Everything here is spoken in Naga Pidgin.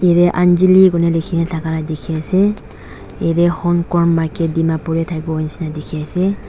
yatae anjeli kuina likhina thaka la dikhiase ase yatae honkorn market dimapur tae thakiwo nishina dikhiase.